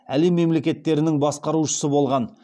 әлем мемлекеттерінің басқарушысы болған